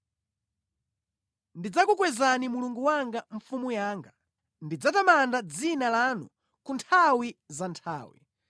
Ndidzakukwezani Mulungu wanga, Mfumu yanga; ndidzatamanda dzina lanu ku nthawi za nthawi.